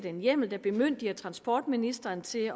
en hjemmel der bemyndiger transportministeren til